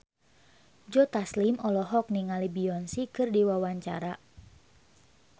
Joe Taslim olohok ningali Beyonce keur diwawancara